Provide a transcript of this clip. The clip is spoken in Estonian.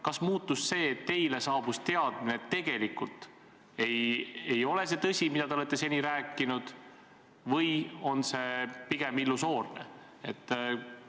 Kas muutus see, et teile jõudis kohale teadmine, et tegelikult ei ole see tõsi, mida te olete seni rääkinud, et pigem oli see illusoorne jutt?